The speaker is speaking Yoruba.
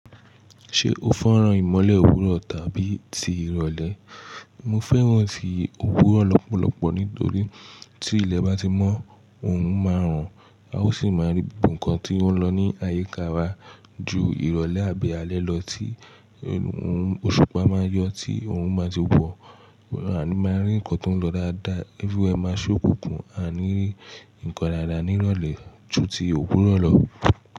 Ṣé o fẹ́ràn ìmọ̀lè òwúrọ̀ tàbí ti ìrọ̀lẹ́? Mo fẹ́ràn ti òwúrọ̀ lọ́pọ̀lọ́pọ̀ nítorí tí ilẹ̀ bá ti mọ́, òrun máa rùn a ó sì máa rí gbogbo nǹkan tí ó ń lọ ní àyíká wa ju ìrọ̀lẹ́ àbí alẹ́ lọ tí òun òṣùpá máa yọ, tí òrun máa ti wọ, àní máa rí nǹkan tó ń lọ dáadáa. Everywhere máa ṣókùnkùn, a ni rí nǹkan dáadáa ni ìrọ̀lẹ́ ju ti òwúrọ̀ lọ.